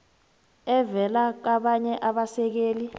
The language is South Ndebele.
evela kabanye abasekeli